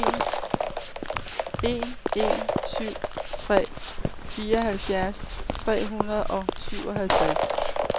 en en syv tre fireoghalvfjerds tre hundrede og syvoghalvtreds